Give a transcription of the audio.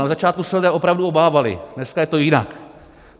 Na začátku se lidé opravdu obávali, dneska je to jinak.